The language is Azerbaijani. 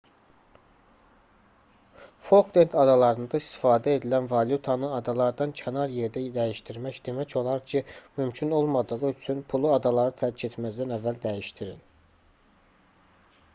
folklend adalarında istifadə edilən valyutanı adalardan kənar yerdə dəyişdirmək demək olar ki mümkün olmadığı üçün pulu adaları tərk etməzdən əvvəl dəyişdirin